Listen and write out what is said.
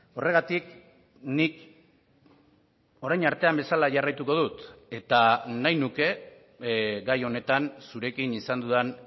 horregatik nik orain artean bezala jarraituko dut eta nahi nuke gai honetan zurekin izan dudan